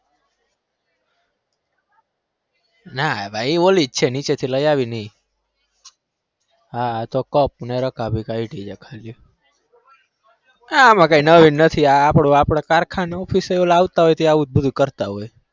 ના ભાઈ ઓલી જ છે નીચે થી લઇ આવીને એ હા તો cup ને રકાબી કાયઢી છે ખાલી આમાં કાઈ નવાઈ નથી આ આપણો તો આપણે કારખાને office એ લાવતા હોય ત્યાં આવું બધું જ કરતા હોય.